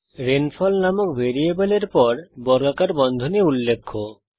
rainfall নামক ভ্যারিয়েবলের পর বর্গাকার বন্ধনী উল্লেখ্য